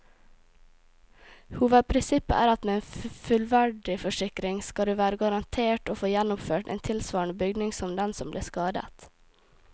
Hovedprinsippet er at med en fullverdiforsikring skal du være garantert å få gjenoppført en tilsvarende bygning som den som ble skadet.